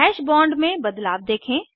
hash bond में बदलाव देखें